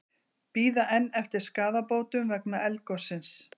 Bíða enn eftir skaðabótum vegna eldgossins